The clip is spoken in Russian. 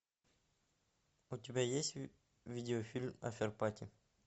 у тебя есть видеофильм аферпати